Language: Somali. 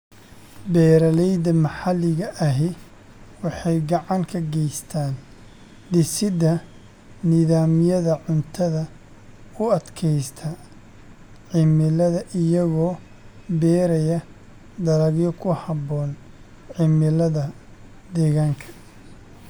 Beeralayda maxalliga ahi waxay gacan ka geystaan ??dhisidda nidaamyada cuntada u adkaysta cimilada iyagoo beeraya dalagyo ku habboon cimilada deegaanka.